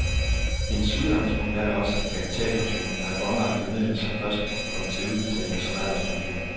Hendes udgangspunkt er da også, at kapitalpensionerne er båndlagte midler, som først skal kunne komme til udbetaling som alderspension.